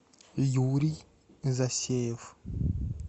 юрий засеев